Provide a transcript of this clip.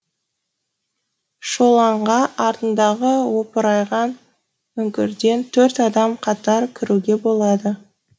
шоланға артындағы опырайған үңгірден төрт адам қатар кіруге болады